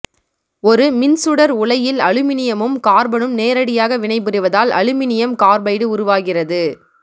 ஒரு மின் சுடர் உலையில் அலுமினியமும் கார்பனும் நேரடியாக வினைபுரிவதால் அலுமினியம் கார்பைடு உருவாகிறது